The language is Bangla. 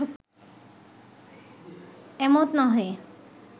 এমত নহে